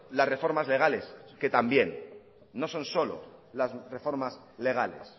las reformas legales que también no son solo las reformas legales